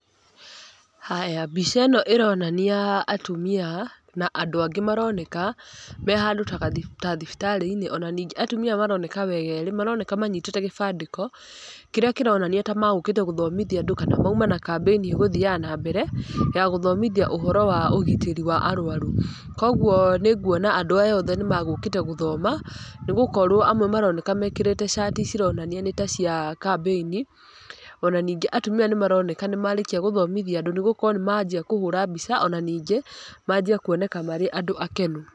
Haya, mbica ĩno ĩronania atumia na andũ angĩ maroneka me handũ ta thibitarĩ-inĩ, ona ningĩ atumia aya maroneka wega, maroneka manyitĩte gĩbandĩko, kĩrĩa kĩronania ta magũkĩte gũthomithia andũ kana mauma na kambĩini ĩgũthiaga nambere, ya gũthomithia ũhoro wa ũgitĩri wa arũaru, koguo nĩ nguona andũ aya othe nĩ magũkĩte gũthoma, nĩgũkorwo amwe nĩ maroneka mekĩrĩte cati cironania ni ta cia kambĩni, ona ningĩ atumia aya nĩ maroneka nĩ marĩkia gũthomithia andũ nĩgũkorwo nĩ manjia kũhũra mbica, ona ningĩ manjia kuoneka marĩ andũ akenu.